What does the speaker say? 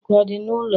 ọkụ ọ dị n'ụlọ?